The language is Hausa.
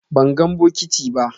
Ban gan bokiti ba.